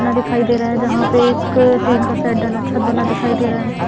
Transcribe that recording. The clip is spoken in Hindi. ना दिखाई दे रहा है जहाँ पे एक टीन का शेड डला छत बना दिखाई दे रहा है।